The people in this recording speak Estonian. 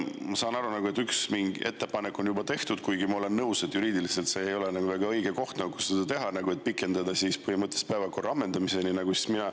Ma saan aru, et üks ettepanek on juba tehtud – kuigi ma olen nõus, et see ei ole juriidiliselt väga õige koht, kus seda teha –, et pikendada põhimõtteliselt päevakorra ammendumiseni.